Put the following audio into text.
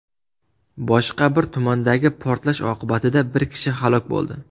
Boshqa bir tumandagi portlash oqibatida bir kishi halok bo‘ldi.